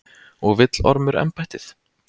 Og vill Ormur embættið?